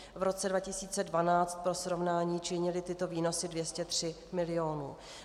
V roce 2012 pro srovnání činily tyto výnosy 203 milionů.